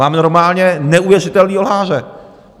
Máme normálně neuvěřitelného lháře.